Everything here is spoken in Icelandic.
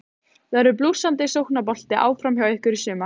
Verður blússandi sóknarbolti áfram hjá ykkur í sumar?